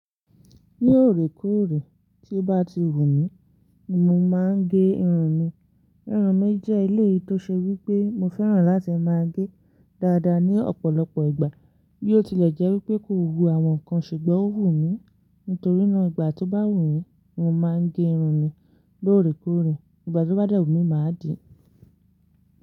Ní òrékóòrè tí ó bá ti wù mí ni mo máa ń gé irun mi. Irun mi jẹ́ èléyìí tó ṣe wí pé mo fẹ́ràn láti máa gé e dáadáa ní ọ̀pọ̀lọpọ̀ ìgbà. Bí ó tilẹ̀ jẹ́ wí pé kò wú àwọn nǹkan ṣùgbọ́n ó wù mí. Nítorínà ìgbà tó bá wù mí ni mo máa ń gé irun mi lóòrèkóòrè, ìgbà tó bá dẹ̀wù mí máa dì í.